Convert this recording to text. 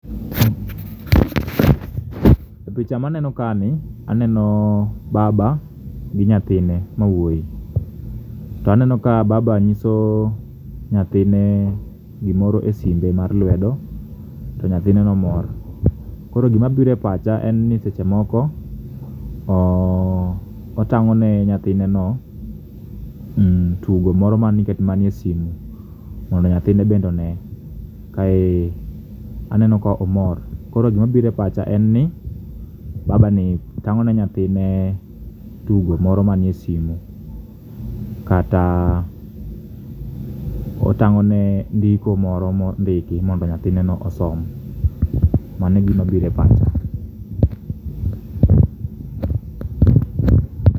E picha maneno kae ni aneno baba gi nyathine ma wuoyi. To aneno ka baba nyiso nyathine gimoro e simbe mar lwedo, to nyathineno mor. Koro gima biro e pacha en ni seche moko otang'o ne nyathineno tugo moro man e sime mondo nyathine bende one. Kae aneno ka omor koro gima biro e pacha en ni baba ni tang'o ne nyathine tugo moro manie sime kata otang'o ne ndiko moro ma ondiki mondo nyathine no osom. Mano e gima biro e pacha.